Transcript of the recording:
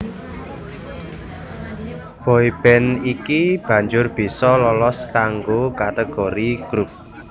Boy band iki banjur bisa lolos kanggo kategori Groups